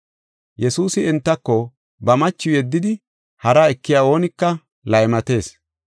Yesuusi entako, “Ba machiw yeddidi hara ekiya oonika laymatees.